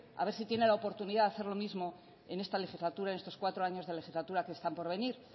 a ver si tiene la oportunidad de hacer lo mismo en esta legislatura y en estos cuatro años de legislatura que están por venir